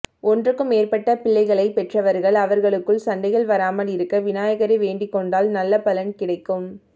ஒன்றுக்கும் மேற்பட்ட பிள்ளைகளைப் பெற்றவர்கள் அவர்களுக்குள் சண்டைகள் வராமல் இருக்க விநாயகரை வேண்டிக் கொண்டால் நல்ல பலன் கிடைக்கும்